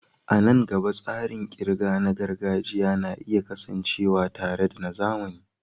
A nan gaba, tsarin ƙirga na gargajiya na iya kasancewa tare da na zamani.